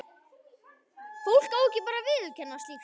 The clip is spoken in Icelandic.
Fólk á bara ekki að viðurkenna slíkt.